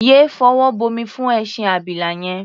Yé fọwọ́ bomi fún ẹṣin abila yẹn!.